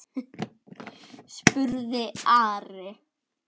spurði Ari.